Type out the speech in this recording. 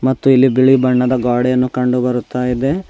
ಮತ್ತು ಇಲ್ಲಿ ಬಿಳಿ ಬಣ್ಣದ ಗಾಡೆಯನ್ನು ಕಂಡು ಬರುತ್ತಾ ಇದೆ.